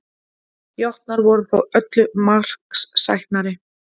Jötnar voru þó öllu marksæknari